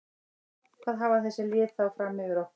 Hvað hafa þessi lið þá fram yfir okkur?